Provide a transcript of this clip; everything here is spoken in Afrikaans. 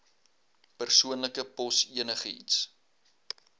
persoonlike pos enigiets